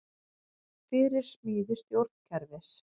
Fyrir smíði stjórnkerfis